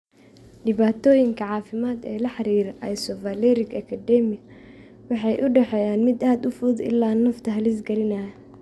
Dhibaatooyinka caafimaad ee la xidhiidha isovaleric acidemia waxay u dhexeeyaan mid aad u fudud ilaa nafta halis gelinaya.